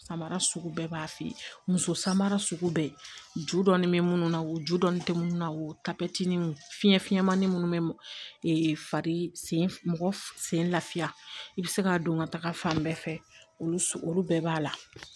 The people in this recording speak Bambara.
Samara sugu bɛɛ b'a fɛ muso samara sugu bɛ ju dɔɔni bɛ mun na o ju dɔnnen tɛ minnu na o fiɲɛ finmannin minnu bɛ fari sen mɔgɔ sen lafiya i bɛ se ka don ka taga fan bɛɛ fɛ olu olu bɛɛ b'a la